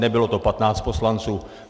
Nebylo to 15 poslanců.